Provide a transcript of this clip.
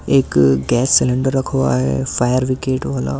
एक gas cylinder रखा हुआ है फायर ब्रिगेड वाला औ--